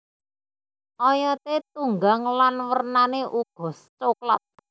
Oyote tunggang lan wernane uga soklat